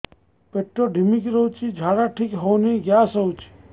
ପେଟ ଢିମିକି ରହୁଛି ଝାଡା ଠିକ୍ ହଉନି ଗ୍ୟାସ ହଉଚି